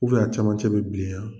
U fɛ a camancɛ bɛ bilen yan